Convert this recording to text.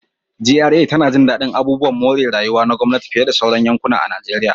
GRA tana jin daɗin abubuwan more rayuwa na gwamnati fiye da sauran yankuna a Najeriya